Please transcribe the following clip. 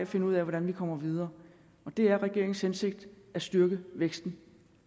finde ud af hvordan vi kommer videre og det er regeringens hensigt at styrke væksten